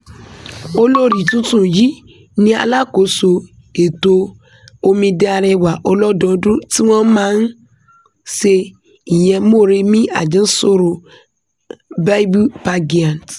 olórí tuntun yìí tún ni alákòóso ètò omidan arẹwà ọlọ́dọọdún tí wọ́n máa ń se ìyẹn moremi ajansoro bible pagiant